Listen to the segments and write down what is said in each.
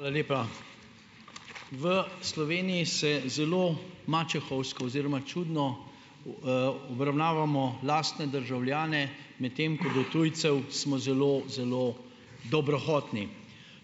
Hvala lepa. V Sloveniji se zelo mačehovsko oziroma čudno, obravnavamo lastne državljane, medtem ko do tujcev smo zelo, zelo dobrohotni.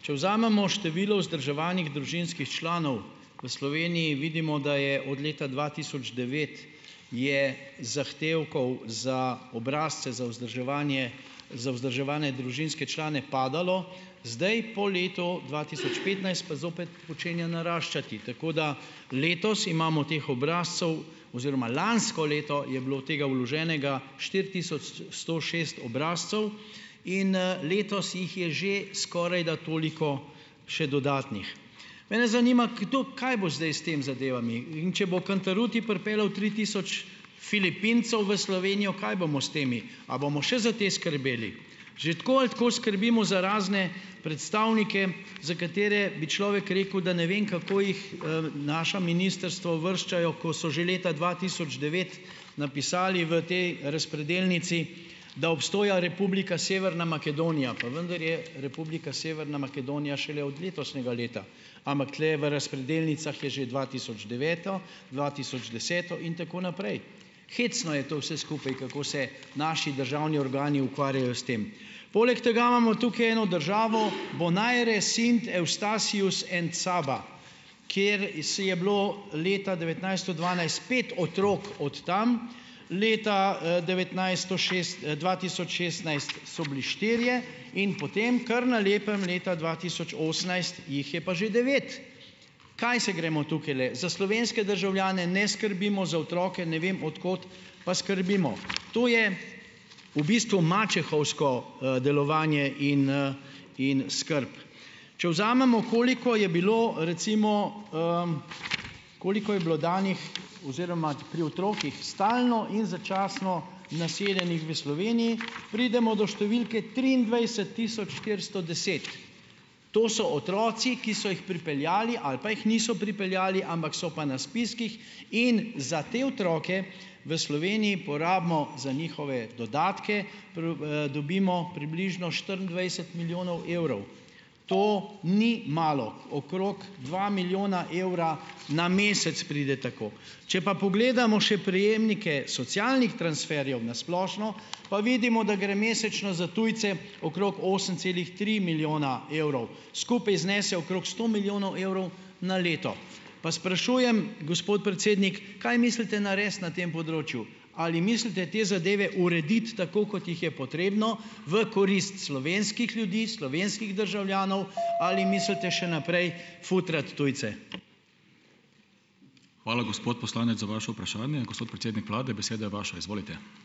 Če vzamemo število vzdrževanih družinskih članov v Sloveniji, vidimo, da je od leta dva tisoč devet je zahtevkov za obrazce za vzdrževanje za vzdrževane družinske člane padalo. Zdaj po letu dva tisoč petnajst pa zopet počenja naraščati, tako da letos imamo teh obrazcev oziroma lansko leto je bilo tega vloženega štiri tisoč sto šest obrazcev in, letos jih je že skorajda toliko še dodatnih. Mene zanima, kdo kaj bo zdaj s tem zadevami. In če bo Cantarutti pripeljal tri tisoč Filipincev v Slovenijo kaj bomo s temi, a bomo še za te skrbeli? Že tako ali tako skrbimo za razne predstavnike, za katere bi človek rekel, da ne vem, kako jih, naša ministrstvo uvrščajo, ko so že leta dva tisoč devet napisali v tej razpredelnici, da obstoja Republika Severna Makedonija, pa vendar je Republika Severna Makedonija šele od letošnjega leta, ampak tule v razpredelnicah je že dva tisoč deveto, dva tisoč deseto in tako naprej. Hecno je to vse skupaj, kako se naši državni organi ukvarjajo s tem. Poleg tega imamo tukaj eno državo "Bonaire, Sint Eustatius and Saba", kjer si je bilo leta devetnajststo dvanajst pet otrok od tam, leta, devetnajststo šest, dva tisoč šestnajst so bili štirje in potem kar na lepem leta dva tisoč osemnajst jih je pa že devet. Kaj se gremo tukajle? Za slovenske državljane ne skrbimo, za otroke ne vem od kod pa skrbimo. To je v bistvu mačehovsko, delovanje in, in skrb. Če vzamemo, koliko je bilo recimo, koliko je bilo danih oziroma pri otrocih stalno in začasno naseljenih v Sloveniji, pridemo do številke triindvajset tisoč štiristo deset. To so otroci, ki so jih pripeljali ali pa jih niso pripeljali, ampak so pa na spiskih in za te otroke v Sloveniji porabimo za njihove dodatke, dobimo približno štiriindvajset milijonov evrov. To ni malo, okrog dva milijona evra na mesec pride tako. Če pa pogledamo še prejemnike socialnih transferjev na splošno, pa vidimo, da gre mesečno za tujce okrog osem celih tri milijona evrov. Skupaj znese okrog sto milijonov evrov na leto. Pa sprašujem, gospod predsednik: Kaj mislite narediti na tem področju, ali mislite te zadeve urediti tako, kot jih je potrebno, v korist slovenskih ljudi, slovenskih državljanov, ali mislite še naprej futrati tujce?